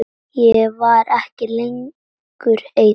Ég var ekki lengur ein.